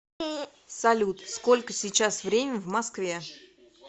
салют сколько сейчас время в москве